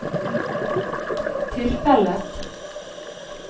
tilfellet